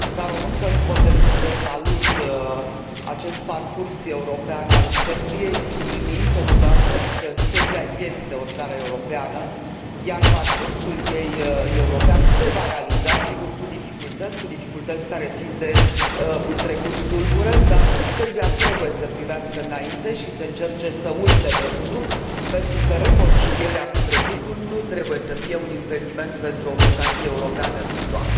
Ca româncă, nu pot decât să salut acest parcurs european al Serbiei, subliniind totodată că Serbia este o țară europeană, iar parcursul ei european se va realiza, sigur cu dificultăți, cu dificultăți care țin de un trecut tulbure, dar Serbia trebuie să privească înainte și să încerce să uite trecutul, pentru că reconcilierea cu trecutul nu trebuie să fie un impediment pentru o vocație europeană viitoare.